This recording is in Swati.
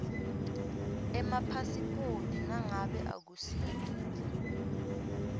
emapasiphoti nangabe akusito